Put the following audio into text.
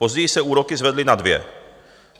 Později se úroky zvedly na dvě.